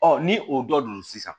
ni o dɔ donna sisan